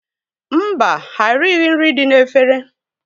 Mba, ha erighi nri dị n'efere.